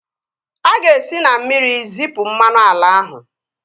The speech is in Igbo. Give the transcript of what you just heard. A ga-esi na mmiri zipu mmanụ ala ahụ